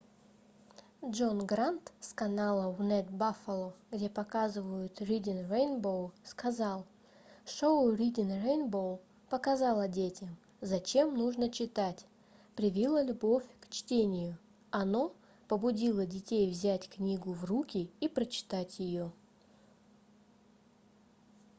джон грант с канала wned buffalo где показывают reading rainbow сказал: шоу reading rainbow показало детям зачем нужно читать ... привило любовь к чтению — [оно] побудило детей взять книгу в руки и прочитать ее